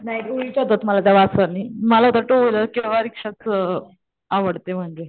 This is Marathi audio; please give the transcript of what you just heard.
नाही उलट्या होतात मला त्या वासनी मला तो किंवा रिक्षानी आवडत म्हणजे